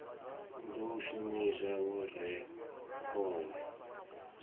ḓo shumiswa u rea khovhe